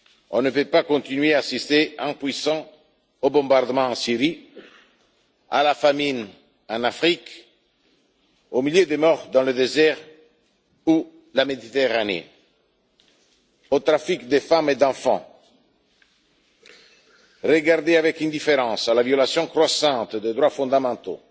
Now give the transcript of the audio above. On ne peut pas continuer à assister, impuissants, aux bombardements en Syrie, à la famine en Afrique, aux milliers de morts dans le désert et en Méditerranée, à la traite de femmes et d'enfants, regarder avec indifférence la violation croissante des droits fondamentaux,